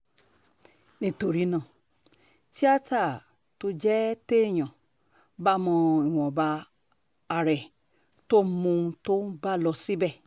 nítorí náà tíata tóo jẹ́ téèyàn bá mọ ìwọ̀nba ara ẹ tó mọ ohun tóun bá lò síbẹ̀